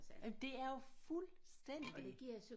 Jamen det er jo fuldstændig